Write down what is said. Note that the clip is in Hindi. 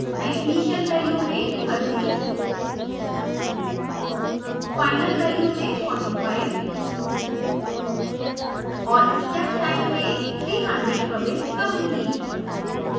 मैं initial value में 30 final value में 45 और step time में 300 प्रविष्ट करुँगी